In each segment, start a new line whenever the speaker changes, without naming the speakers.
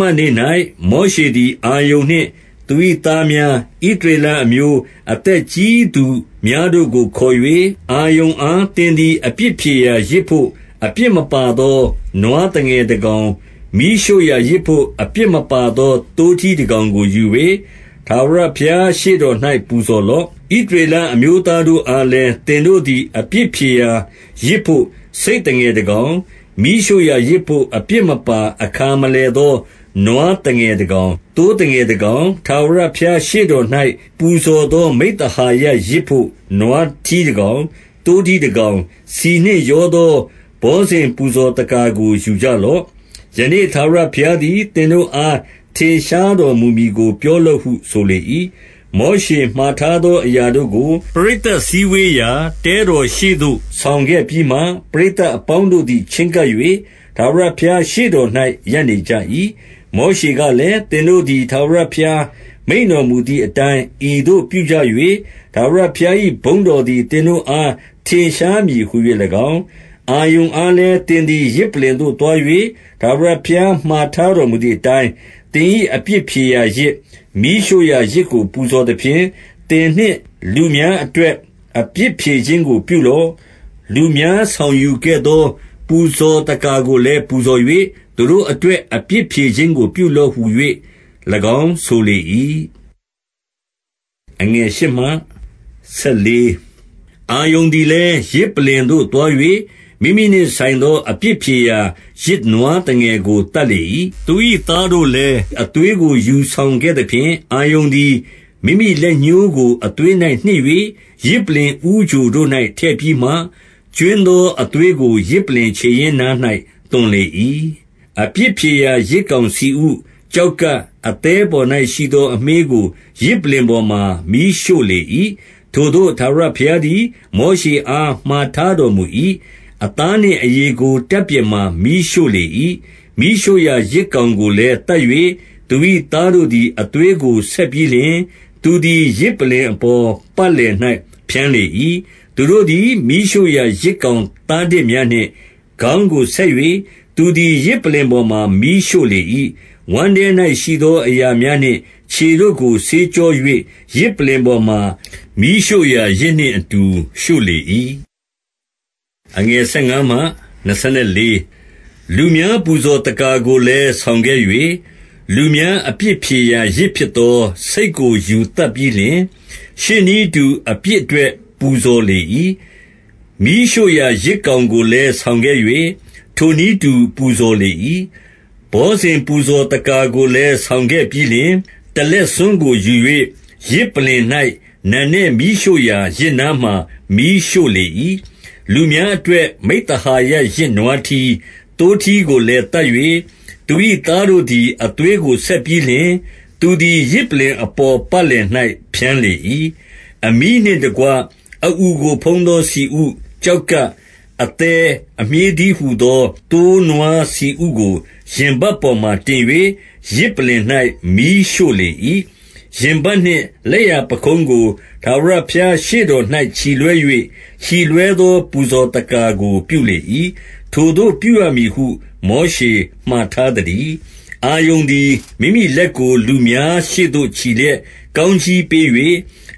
မနေ့၌ မောရှေသည် အာရုန်နှင့်သူ၏သားများ၊ ဣသရေလ အမျိုးအသက်ကြီးသူများတို့ကို ခေါ်၍၊ 2 အာရုန်အား၊ သင်သည် အပြစ်ဖြေရာယဇ်ဘို့ အပြစ်မပါသော နွားသငယ်တကောင်၊ မီးရှို့ရာ ယဇ်ဘို့ အပြစ်မပါသော သိုးထီးတကောင်ကိုယူ၍ ထာဝရဘုရားရှေ့တော်၌ ပူဇော်လော့။ 3 ဣသရေလ အမျိုးသားတို့အားလည်း သင်တို့သည် အပြစ်ဖြေရာယဇ်ဘို့ ဆိတ်သငယ်တကောင်၊ မီးရှို့ရာယဇ်ဘို့ အပြစ်မပါ အခါမလည်သော နွားသငယ်တကောင်၊ သိုးသငယ်တကောင်၊ - 4 ထာဝရဘုရားရှေ့တော်၌ ပူဇော်သော မိဿဟာယယဇ်ဘို့ နွားထီးတကောင်၊ သိုးထီးတကောင်၊ ဆီနှင့်ရောသော ဘောဇဉ်ပူဇော်သက္ကာကို ယူကြလော့။ ယနေ့ထာဝရဘုရားသည် သင်တို့အား ထင်ရှားတော်မူမည်ကို ပြောလော့ဟု ဆိုလေ၏။ 5 မောရှေမှာထားသောအရာတို့ကို ပရိသတ်စည်းဝေးရာ တဲတော်ရှေ့သို့ ဆောင်ခဲ့ပြီးမှ၊ ပရိသတ် အပေါင်းတို့သည် ချဉ်းကပ်၍ ထာဝရဘုရားရှေ့တော်၌ ရပ်နေကြ၏။ 6 မောရှေကလည်း၊ သင်တို့သည် ထာဝရဘုရား မိန့်တော်မူသည်အတိုင်း ဤသို့ပြုကြ၍၊ ထာဝရဘုရား၏ ဘုန်းတော်သည် သင်တို့အား ထင်ရှားမည်ဟူ၍၎င်း၊ 7 အာရုန်အားလည်း၊ သင်သည် ယဇ်ပလ္လင်သို့သွား၍ ထာဝရဘုရား မှာထားတော်မူသည်အတိုင်း၊ သင်၏ အပြစ်ဖြေရာယဇ်၊ မီးရှို့ရာယဇ်ကို ပူဇော်သဖြင့်၊ သင်နှင့်လူများအတွက် အပြစ်ဖြေခြင်းကို ပြုလော့။ လူများ ဆောင်ယူခဲ့သော ပူဇော်သက္ကာကိုလည်း ပူဇော်၍၊ သူတို့အတွက် အပြစ်ဖြေခြင်းကို ပြုလော့ဟူ၍ ၎င်းဆိုလေ၏။ 8 အာရုန်သည်လည်း၊ ယဇ်ပလ္လင်သို့သွား၍ မိမိနှင့် ဆိုင်သော အပြစ်ဖြေရာယဇ် နွားသငယ်ကို သတ်လေ၏။ 9 သူ၏ သားတို့လည်း အသွေးကို ယူဆောင်ခဲ့သဖြင့်၊ အာရုန်သည် မိမိလက်ညှိုးကို အသွေး၌နှစ်၍ ယဇ်ပလ္လင်ဦးချိုတို့၌ ထည့်ပြီးမှ၊ ကြွင်းသောအသွေးကို ယဇ်ပလ္လင်ခြေရင်းနား၌ သွန်လေ၏။ 10 အပြစ်ဖြေရာ ယဇ်ကောင်ဆီဥ၊ ကျောက်ကပ်၊ အသည်းပေါ်၌ရှိသော အမြှေးကို ယဇ်ပလ္လင်ပေါ်မှာ မီးရှို့လေ၏။ ထိုသို့ ထာဝရဘုရားသည် မောရှေအားမှာ ထားတော်မူ၏။ 11 အသားနှင့်အရေကို တပ်ပြင်မှာ မီးရှို့လေ၏။ 12 မီးရှို့ရာယဇ်ကောင်ကိုလည်း သတ်၍၊ သူ၏သားတို့သည် အသွေးကို ဆက်ပြီးလျှင်၊ သူသည် ယဇ်ပလ္လင် အပေါ် ပတ်လည်၌ ဖြန်းလေ၏။ 13 သူတို့သည် မီးရှို့ရာယဇ်ကောင်သားတစ်များနှင့် ခေါင်းကိုဆက်၍၊ သူသည် ယဇ်ပလ္လင်ပေါ်မှာ မီးရှို့ လေ၏။ 14 ဝမ်းထဲ၌ ရှိသောအရာများနှင့် ခြေတို့ကို ဆေးကြော၍ ယဇ်ပလ္လင်ပေါ်မှာ မီးရှို့ရာယဇ်နှင့် အတူ ရှို့လေ၏။ 15 လူများ ပူဇော်သက္ကာကိုလည်း ဆောင်ခဲ့၍၊ လူများအပြစ်ဖြေရာယဇ်ဖြစ်သော ဆိတ်ကိုယူ သတ်ပြီးလျှင်၊ ရှေ့နည်းအတူ အပြစ်အတွက် ပူဇော်လေ၏။ 16 မီးရှို့ရာ ယဇ်ကောင်ကိုလည်း ဆောင်ခဲ့၍၊ ထိုနည်းတူ ပူဇော်လေ၏ 17 ဘောဇဉ်ပူဇော်သက္ကာကိုလည်း ဆောင်းခဲ့ပြီးလျှင်၊ တလက်ဆွန်းကိုယူ၍ ယဇ်ပလ္လင်၌ နံနက်မီးရှို့ ရာယဇ်နားမှာ မီးရှို့လေ၏။ 18 လူများအတွက် မိဿဟာယယဇ် နွားထီး၊ သိုးထီးကိုလည်း သတ်၍၊ သူ၏ သားတို့သည် အသွေးကို ဆက်ပြီးလျှင်၊ သူသည် ယဇ်ပလ္လင်အပေါ် ပတ်လည်၌ ဖြန်းလေ၏။ 19 အမြီးနှင့်တကွ အအူကိုဖုံးသော ဆီဥ၊ ကျောက်ကပ်၊ အသည်းအမြှေးတည်းဟူသော သိုးနွားဆီဥကို၊- 20 ရင်ပတ်ပေါ်မှာ တင်၍ ယဇ်ပလ္လင်၌ မီးရှို့လေ၏။ 21 ရင်ပတ်နှင့်လက်ျာပခုံးကို ထာဝရဘုရားရှေ့တော်၌ ချီလွှဲ၍၊ ချီလွှဲသော ပူဇော်သက္ကာကို ပြုလေ၏။ ထိုသို့ပြုရမည်ဟု မောရှေမှာထားသတည်း။ 22 အာရုန်သည် မိမိလက်ကို လူများရှေ့သို့ ချီလျက်၊ ကောင်းကြီးပေး၍၊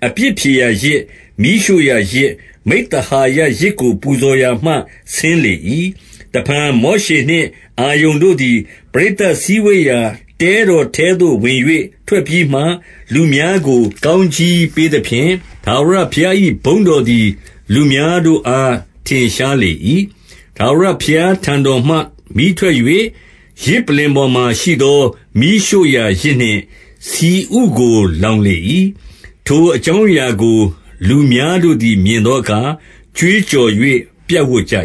အပြစ်ဖြေရာယဇ်၊ မီးရှို့ရာယဇ်၊ မိဿဟာယယဇ်ကို ပူဇော်ရာမှ ဆင်းလေ၏။ 23 တဖန် မောရှေနှင့် အာရုန်တို့သည် ပရိသတ်စည်းဝေးရာ တဲတော်ထဲသို့ ဝင်၍ ထွက်ပြီးမှ၊ လူများကို ကောင်းကြီးပေးသဖြင့်၊ ထာဝရဘုရား၏ ဘုန်းတော်သည် လူများတို့အား ထင်ရှားလေ၏။ 24 ထာဝရဘုရားတော်ထံမှ မီးထွက်၍ ယဇ်ပလ္လင်ပေါ်မှာရှိသော မီးရှို့ရာယဇ်နှင့်ဆီဥကို လောင်လေ၏။ ထိုအကြောင်းအရာကို လူများတို့သည် မြင်သောအခါ ကြွေးကြော်၍ ပြပ်ဝပ်ကြ